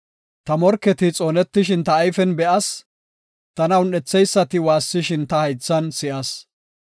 Ta morketi xoonetishin ta ayfen be7as; tana un7etheysati waassishin ta haythan si7as.